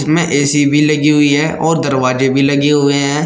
फिर ऐ_सी भी लगी हुई है और दरवाजे भी लगे हुए हैं।